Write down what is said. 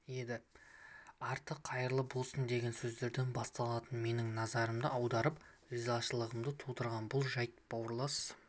еді арты қайырлы болсын деген сөздерден басталатын менің назарымды аударып ризашылығымды тудырған бұл жайт бауырлас